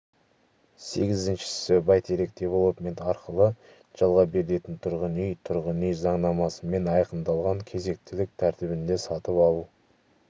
сегізіншісі бәйтерек девелопмент арқылы жалға берілетін тұрғын үй тұрғын үй заңнамасымен айқындалған кезектілік тәртібінде сатып алу